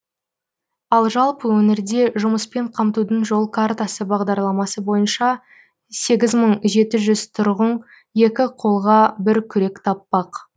ал жалпы өңірде жұмыспен қамтудың жол картасы бағдарламасы бойынша сегіз мың жеті жүз тұрғын екі қолға бір күрек таппақ